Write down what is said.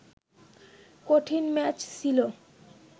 কঠিন ম্যাচ ছিল